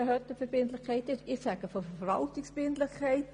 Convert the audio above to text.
Ich spreche von Verwaltungsverbindlichkeit.